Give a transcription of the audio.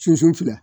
Sunsun filɛ